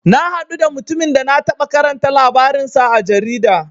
Na haɗu da mutumin da na taɓa karanta labarin sa a jarida.